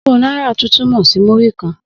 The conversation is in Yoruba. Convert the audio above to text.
Ogun náírà tún túmọ̀ sí múrí-kan